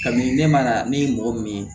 Kabini ne ma na ne ye mɔgɔ min ye